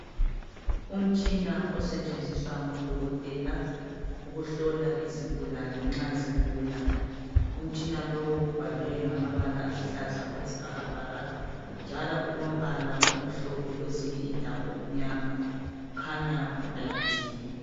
Umtshina osetshenziswa ngodokotela ukuhlola izigulani nxa zigula umtshina lowu ubhaliwe ngamabala aluhlaza okwesibhakabhaka njalo ulombala omhlophe njalo kwezinye indawo umnyama ukhanya ulayithiwe